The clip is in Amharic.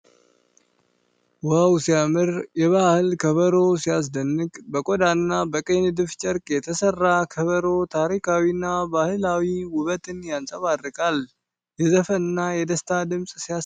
ዋው ሲያምር! የባህል ከበሮ ሲያስደንቅ! በቆዳና በቀይ ንድፍ ጨርቅ የተሰራው ከበሮ ታሪካዊና ባህላዊ ውበትን ያንጸባርቃል። የዘፈንና የደስታ ድምፅ ሲያሰማ ሲይታይ! ሲያምር!